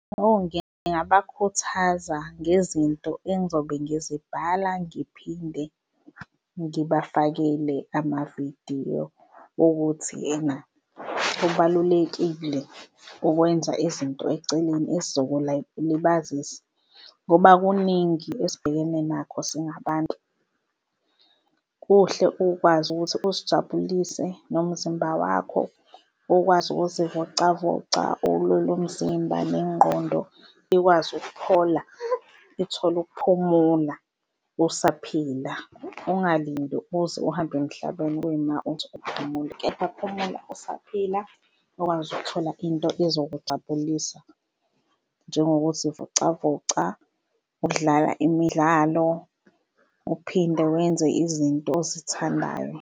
Oh, ngingabakhuthaza ngezinto engizobe ngizibhala, ngiphinde ngibafakele amavidiyo okuthi ena kubalulekile ukwenza izinto eceleni esizobalibazisa, ngoba kuningi esibhekene nakho singabantu. Kuhle ukwazi ukuthi uzijabulise nomzimba wakho ukwazi ukuzivocavoca ulule umzimba nengqondo ikwazi ukuphola uthole ukuphumula usaphila. Ungalindi uze uhambe emhlabeni kuyima uzophumula, kepha phumula usaphila okwazi ukuthola into ezokujabulisa njengokuzivocavoca, ukudlala imidlalo, uphinde wenze izinto ozithandayo.